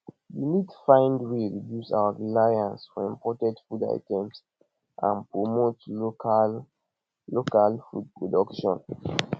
we need find way reduce our reliance for imported food items and promote local local food production